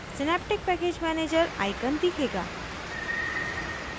synaptic package manager icon दिखेगा